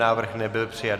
Návrh nebyl přijat.